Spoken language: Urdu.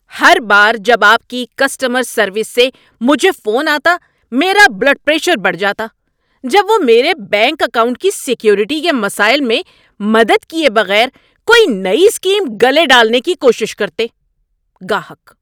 ہر بار جب آپ کی کسٹمر سروس سے مجھے فون آتا، میرا بلڈ پریشر بڑھ جاتا جب وہ میرے بینک اکاؤنٹ کی سیکیورٹی کے مسائل میں مدد کیے بغیر کوئی نئی اسکیم گلے ڈالنے کی کوشش کرتے۔ (گاہک)